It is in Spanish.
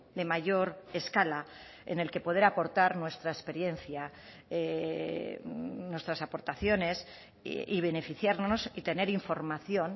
de mayor escala en el que poder aportar nuestra experiencia nuestras aportaciones y beneficiarnos y tener información